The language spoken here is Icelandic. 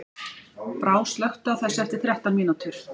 Brá, slökktu á þessu eftir þrettán mínútur.